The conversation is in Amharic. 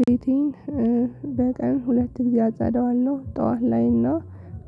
ቤቴን በቀን ሁለት ግዘ አጸደዋለሁ ጠዋት ላይ እና